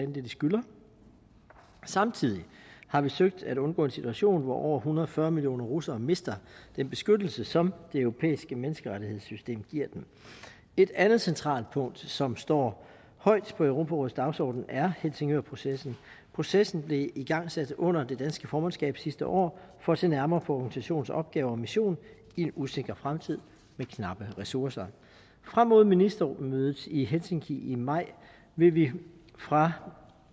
det de skylder samtidig har vi søgt at undgå en situation hvor over en hundrede og fyrre millioner russere mister den beskyttelse som det europæiske menneskerettighedssystem giver dem et andet centralt punkt som står højt på europarådets dagsorden er helsingørprocessen processen blev igangsat under det danske formandskab sidste år for at se nærmere på organisationens opgaver og mission i en usikker fremtid med knappe ressourcer frem mod ministermødet i helsinki i maj vil vi fra